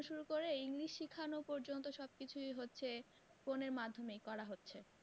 শুরু করে english শিখানো পযন্ত সবকিছুই হচ্ছে phone এর মাধ্যমে করা হচ্ছে।